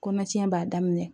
Kɔnɔtiɲɛ b'a daminɛ